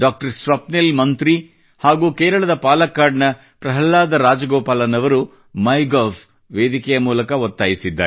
ಸ್ವಪ್ನಿಲ್ ಮಂತ್ರಿ ಹಾಗೂ ಕೇರಳದ ಪಾಲಕ್ಕಾಡ್ ನ ಪ್ರಹ್ಲಾದ ರಾಜಗೋಪಾಲನ್ ಅವರು ಮೈಗವ್ʼ ವೇದಿಕೆಯ ಮೂಲಕ ಒತ್ತಾಯಿಸಿದ್ದಾರೆ